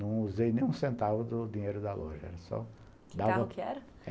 Não usei nem um centavo do dinheiro da loja, era só... Que carro que era?